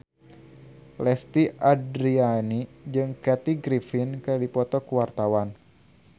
Lesti Andryani jeung Kathy Griffin keur dipoto ku wartawan